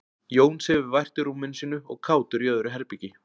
jón sefur vært í rúminu sínu og kátur í öðru herbergi